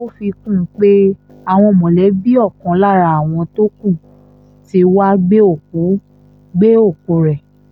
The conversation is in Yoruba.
ó fi kún un pé àwọn mọ̀lẹ́bí ọ̀kan lára àwọn tó kù tí wàá gbé òkú gbé òkú rẹ